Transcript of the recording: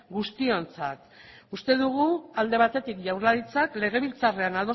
guztiontzat uste dugu alde batetik jaurlaritzak legebiltzarrean